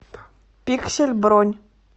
пиксель бронь